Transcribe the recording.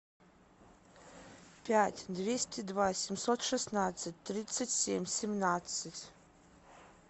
пять двести два семьсот шестнадцать тридцать семь семнадцать